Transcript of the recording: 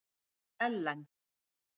Ellen